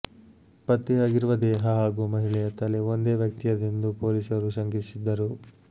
ಪತ್ತೆಯಾಗಿರುವ ದೇಹ ಹಾಗೂ ಮಹಿಳೆಯ ತಲೆ ಒಂದೇ ವ್ಯಕ್ತಿಯದೆಂದು ಪೋಲೀಸರು ಶಂಕಿಸಿದ್ದರು